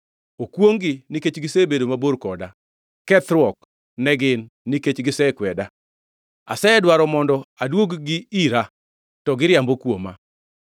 Okwongʼ-gi, nikech gisebedo mabor koda! Kethruok ne gin, nikech gisekweda! Asedwaro mondo aduog-gi ira to giriambo kuoma.